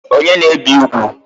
Onye na-ebi ugwu?